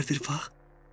Hələ bir bax!